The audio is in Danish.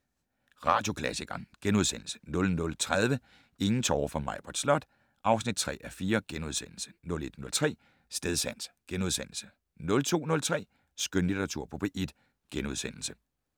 21:03: Radioklassikeren * 00:30: Ingen tårer for Maibritt Slot (3:4)* 01:03: Stedsans * 02:03: Skønlitteratur på P1 *